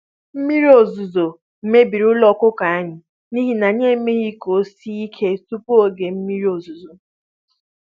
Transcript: Mmiri ozuzo mebiri ụlọ ọkụkọ anyị n'ihi na anyị emeghị ka ọ sie ike tupu oge mmiri ozuzo.